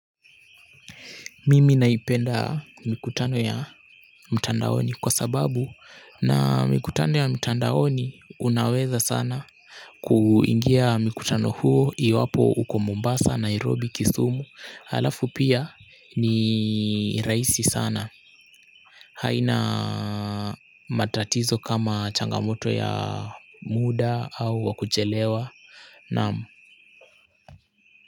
Mimi naipenda mikutano ya mtandaoni kwa sababu na mikutano ya mtandaoni unaweza sana kuingia mikutano huo iwapo uko Mombasa Nairobi Kisumu halafu pia ni rahisi sana haina matatizo kama changamoto ya muda au wa kuchelewa. Naam.